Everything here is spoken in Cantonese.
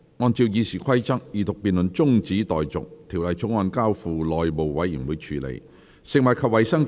按照《議事規則》，二讀辯論中止待續，《條例草案》交付內務委員會處理。